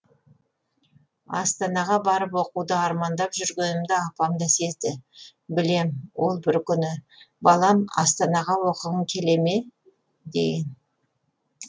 астанаға барып оқуды армандап жүргенімді апам да сезді білем ол бір күні балам астанаға оқығың келе ме деген